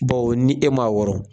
Bawo ni e m'a wɔrɔ